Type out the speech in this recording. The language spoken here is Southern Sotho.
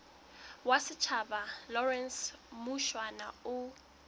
wa setjhaba lawrence mushwana o